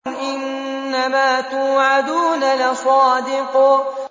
إِنَّمَا تُوعَدُونَ لَصَادِقٌ